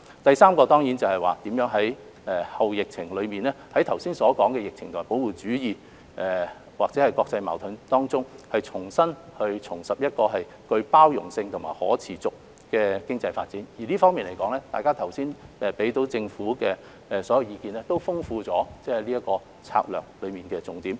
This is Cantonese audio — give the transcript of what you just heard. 第三個挑戰是如何在後疫情時期，在剛才提及的疫情、保護主義或國際矛盾下，重拾具包容性和可持續的經濟發展動力，在這方面，大家剛才給予政府的所有意見，都豐富了這項策略的重點。